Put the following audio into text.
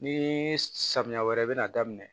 Ni samiya wɛrɛ bɛna daminɛ